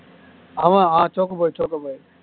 அவன் ah choco boy choco boy